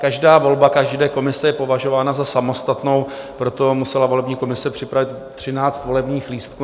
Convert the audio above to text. Každá volba každé komise je považována za samostatnou, proto musela volební komise připravit 13 volebních lístků.